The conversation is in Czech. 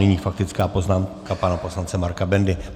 Nyní faktická poznámka pana poslance Marka Bendy.